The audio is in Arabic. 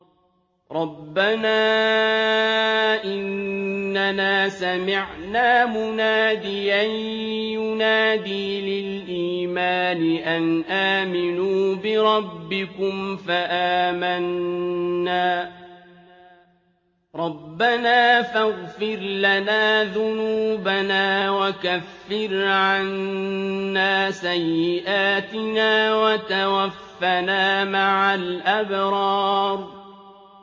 رَّبَّنَا إِنَّنَا سَمِعْنَا مُنَادِيًا يُنَادِي لِلْإِيمَانِ أَنْ آمِنُوا بِرَبِّكُمْ فَآمَنَّا ۚ رَبَّنَا فَاغْفِرْ لَنَا ذُنُوبَنَا وَكَفِّرْ عَنَّا سَيِّئَاتِنَا وَتَوَفَّنَا مَعَ الْأَبْرَارِ